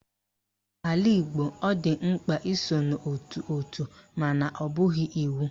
N'ala Igbo, ọ dị mkpa iso n'ótù òtù mana ọ bụghị iwu